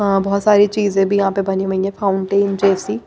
बहुत सारी चीजें भी यहां पे बनी हुई है फाउंटेन जैसी।